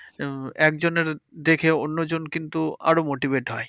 উম একজনের দেখেও অন্য জন কিন্তু আরো motivate হয়।